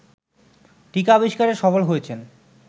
টীকা আবিস্কারে সফল হয়েছেন